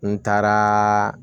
N taaraa